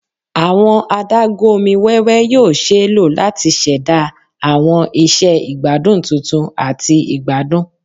Awọn adagun omi wẹwẹ yoo ṣee lo lati ṣẹda awọn iṣẹ igbadun tuntun ati igbadun